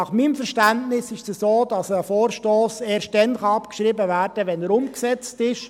Nach meinem Verständnis ist es so, dass ein Vorstoss erst dann abgeschrieben werden kann, wenn er umgesetzt ist.